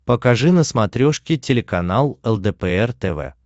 покажи на смотрешке телеканал лдпр тв